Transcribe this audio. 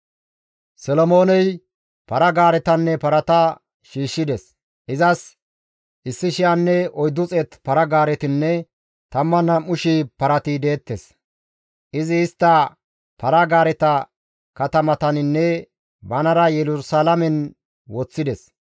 Solomooney para-gaaretanne parata shiishshides; izas 1,400 para-gaaretinne 12,000 parati deettes; izi istta para-gaareta katamataninne banara Yerusalaamen woththides.